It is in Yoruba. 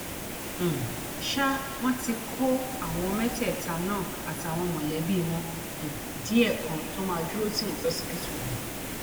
um ṣá wọn ti kọ àwọn mẹtẹẹta náà àtàwọn mọlẹbí wọn um díẹ kan tó máa dúró tì wọn lọsibítù lọ